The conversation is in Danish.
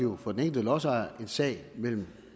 jo for den enkelte lodsejer en sag mellem